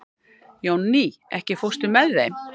Jónný, ekki fórstu með þeim?